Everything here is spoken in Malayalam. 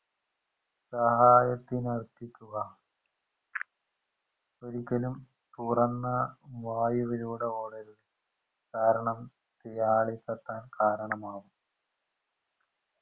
സഹായത്തിന് അർപ്പിക്കു ഒരിക്കലും തുറന്ന വായുവിലൂടെ ഓടരുത് കാരണം തീ ആളിക്കത്താൻ കാരണമാവും